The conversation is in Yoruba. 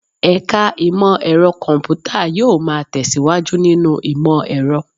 Ẹ̀ka Imọ-ẹrọ Kọmputa yóò máa tẹ̀síwájú nínú ìmọ̀-ẹ̀rọ̀